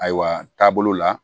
Ayiwa taabolo la